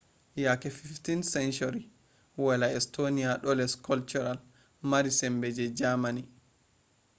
yake 15th century wayla estonia ɗo les cultural mari sembe je germany